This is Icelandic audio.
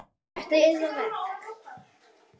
Eru þetta yðar verk?